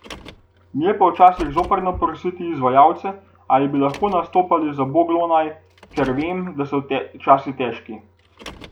Mi je pa včasih zoprno prositi izvajalce, ali bi lahko nastopali za boglonaj, ker vem, da so časi težki.